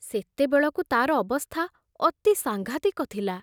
ସେତେବେଳକୁ ତାର ଅବସ୍ଥା ଅତି ସାଂଘାତିକ ଥିଲା।